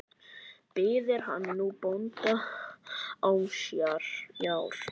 Biður hann nú bónda ásjár.